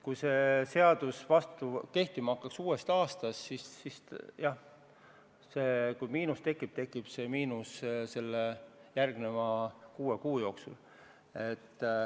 Kui see seadus hakkaks kehtima uuest aastast, siis see miinus tekiks ehk järgmise kuue kuu jooksul.